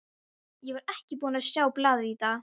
Ég var ekki búinn að sjá blaðið í dag.